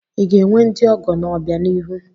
I ga-enwe ndị ọgọ n'obianihu?